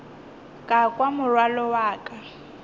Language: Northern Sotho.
ka kwa morwalo wa ka